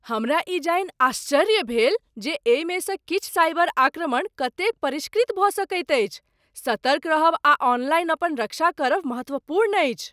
हमरा ई जानि आश्चर्य भेल जे एहिमेसँ किछु साइबर आक्रमण कतेक परिष्कृत भऽ सकैत अछि। सतर्क रहब आ ऑनलाइन अपन रक्षा करब महत्वपूर्ण अछि।